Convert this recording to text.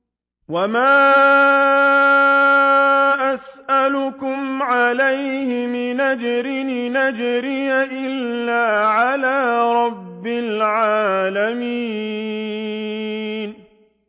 وَمَا أَسْأَلُكُمْ عَلَيْهِ مِنْ أَجْرٍ ۖ إِنْ أَجْرِيَ إِلَّا عَلَىٰ رَبِّ الْعَالَمِينَ